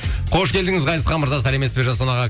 қош келдіңіз ғазизхан мырза сәлеметсіз бе жасұлан аға